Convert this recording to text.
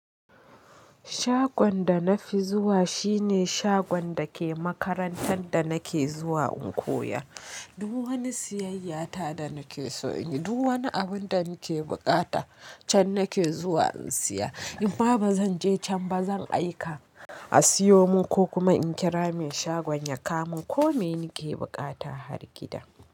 Shagon da na fi zuwa shine shagon da ke makarantar da nake zuwa in koya. Duk wani siyayya ta da nake so in yi, duk wani abun da muke buƙata can nake zuwa in siya. In ma ba zan je can ba zan aika a siyo mun ko kuma in kira mai shagon ya kawo min ko me nake bukata har gida.